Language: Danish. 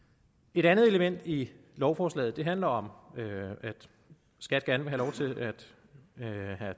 et andet element i lovforslaget handler om at skat gerne vil have